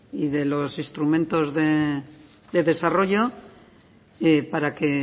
y de los instrumentos de desarrollo para que